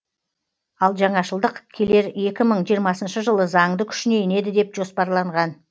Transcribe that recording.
ал жаңашылдық келер екі мың жиырмасыншы жылы заңды күшіне енеді деп жоспарланған